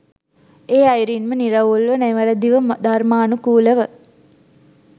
ඒ අයුරින්ම නිරවුල්ව, නිවැරැදිව ධර්මානුකූලව